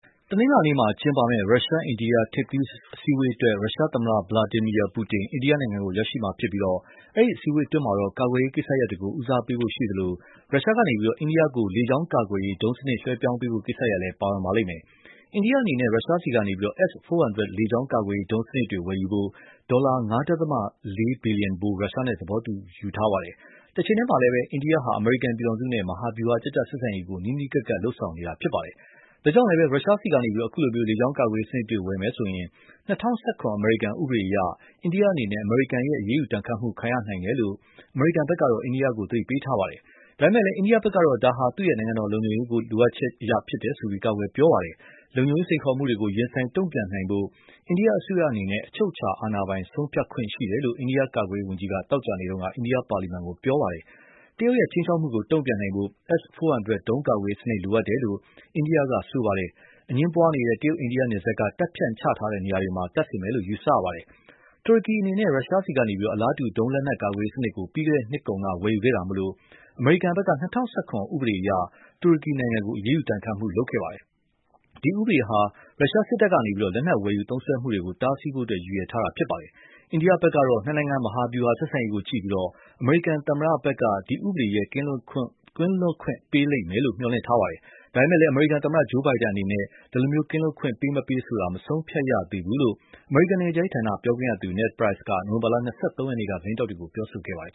တနင်္လာနေ့ကျင်းပမယ့် ရုရှား-အိန္ဒိယ ထိပ်သီးအစည်းအဝေးအတွက် ရုရှားသမ္မတ Vladmir Putin အိန္ဒိယနိုင်ငံကို ရောက်ရှိမှာဖြစ်ပြီး အဲဒီအစည်းအဝေးမှာတော့ ကာကွယ်ရေးကိစ္စရပ်တွေကို ဦးစားပေးဖို့ ရှိသလို ရုရှားကနေ အိန္ဒိယကို လေကြောင်းကာကွယ်ရေး ဒုံးစနစ် လွှဲပြောင်းပေးဖို့ ကိစ္စရပ်လည်း ပါဝင်ပါလိမ့်မယ်။ အိန္ဒိယအနေနဲ့ ရုရှားဆီကနေ S-400 လေကြောင်းကာကွယ်ရေး ဒုံးစနစ်တွေ ဝယ်ယူဖို့ ဒေါ်လာ ၅ ဒသမ ၄ ဘီလီယံဖိုး ရုရှားနဲ့ သဘောတူထားပါတယ်။ တချိန်တည်းမှာလည်း အိန္ဒိယဟာ အမေရိကန်ပြည်ထောင်စုနဲ့ မဟာဗျူဟာကျကျ ဆက်ဆံရေးကို နီးနီးကပ်ကပ် လုပ်ဆောင်နေတာပါ။ ဒါကြောင့်လည်း ရုရှားဆီကနေ အခုလို လေကြောင်းကာကွယ်ရေးစနစ်တွေ ဝယ်ယူမယ်ဆိုရင် ၂၀၁၇ အမေရိကန်ဥပဒေအရ အိန္ဒိယအနေနဲ့ အမေရိကန်ရဲ့ အရေးယူဒဏ်ခတ်မှု ခံရနိုင်တယ်လို့ အမေရိကန်ဘက်က အိန္ဒိယကို သတိပေးထားပါတယ်။ ဒါပေမယ့်လည်း အိန္ဒိယဘက်ကတော့ ဒါဟာ သူ့ရဲ့ နိုင်ငံတော်လုံခြုံရေး လိုအပ်ချက်အရပါဆိုပြီး ကာကွယ်ပြောဆိုပါတယ်။ လုံခြုံရေး စိန်ခေါ်မှုတွေကို ရင်ဆိုင်တုံ့ပြန်နိုင်ဖို့ အိန္ဒိယအစိုးရအနေနဲ့ အချုပ်အခြာအာဏာပိုင် ဆုံးဖြတ်ခွင့် ရှိတယ်လို့ အိန္ဒိယကာကွယ်ရေးဝန်ကြီး Ajay Bhatt က သောကြာနေ့တုန်းက အိန္ဒိယပါလီမန်ကို ပြောခဲ့ပါတယ်။ တရုတ်ရဲ့ ခြိမ်းခြောက်မှုကို တုံ့ပြန်နိုင်ဖို့ S-400 ဒုံးကာကွယ်ရေးစနစ် လိုအပ်တယ်လို့ အိန္ဒိယက ပြောပါတယ်။ အငြင်းပွားနေတဲ့ တရုတ်-အိန္ဒိယနယ်စပ်က တပ်ဖြန့်ချထားတဲ့ နေရာတွေမှာ တပ်ဆင်မယ်လို့ ယူဆရပါတယ်။ တူရကီအနေနဲ့ ရုရှားဆီကနေ အလားတူ ဒုံးလက်နက်ကာကွယ်ရေးစနစ် ပြီးခဲ့တဲ့နှစ်ကုန်က ဝယ်ယူခဲ့တာမို့ အမေရိကန်ဘက်က ၂၀၁၇ ဥပဒေအရ တူရကီနိုင်ငံကို အရေးယူဒဏ်ခတ်မှု ချမှတ်ခဲ့ပါတယ်။ ဒီဥပဒေဟာ ရုရှားစစ်တပ်က လက်နက်ဝယ်ယူ သုံးစွဲမှုတွေကို တားဆီးဖို့ ရည်ရွယ်ထားတာပါ။ အိန္ဒိယဘက်ကတော့ နှစ်နိုင်ငံ မဟာဗျူဟာ ဆက်ဆံရေးကို ကြည့်ပြီး အမေရိကန်သမ္မတဘက်က ဒီဥပဒေရဲ့ ကင်းလွတ်ခွင့်ပေးမှု ရလိမ့်မယ်လို့ မျှော်လင့်ထားတာပါ။ ဒါပေမယ့်လည်း အမေရိကန်သမ္မတ Joe Biden အနေနဲ့ ဒီလို ကင်းလွတ်ခွင့် ပေးမပေးဆိုတာ မဆုံးဖြတ်ရသေးဘူးလို့ အမေရိကန် နိုင်ငံခြားရေးဌာန ပြောခွင့်ရသူ Ned Price က နိုဝင်ဘာ ၂၃ ရက်နေ့က သတင်းထောက်တွေကို ပြောခဲ့ပါတယ်